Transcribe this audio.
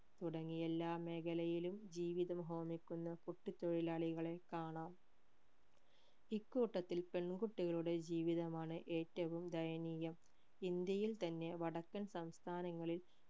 തുടങ്ങി എല്ലാ മേഖലയിലും ജീവിതം ഹോമിക്കുന്ന കുട്ടി തെഴിലാളികളെ കാണാം ഇക്കൂട്ടത്തിൽ പെൺ കുട്ടികളുടെ ജീവിതമാണ് ഏറ്റവും ദയനീയം ഇന്ത്യയിൽ തന്നെ വടക്കൻ സംസ്ഥാനങ്ങളിൽ